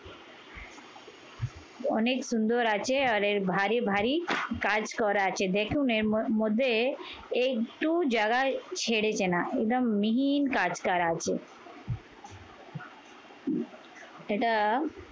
অনেক সুন্দর আছে আর এর ভারি ভারি কাজ করা আছে। দেখুন এর ম মধ্যে একটু জাগায় ছেড়েছে না, একদম মিহিন কাজ করা আছে। এটা